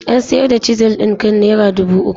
An sayar da Chisel ɗin kan naira dubu uku.